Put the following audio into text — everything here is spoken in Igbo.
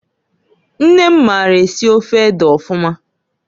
Nne m maara esi ofe ede ọfụma.